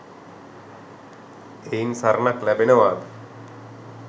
එයින් සරණක් ලැබෙනවාද?